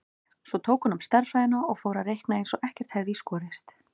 Svo tók hún upp stærðfræðina og fór að reikna eins og ekkert hefði í skorist.